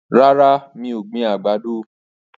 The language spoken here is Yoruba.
Rárá, mi ò gbin àgbàdo.